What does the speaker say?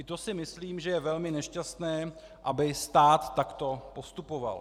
I to si myslím, že je velmi nešťastné, aby stát takto postupoval.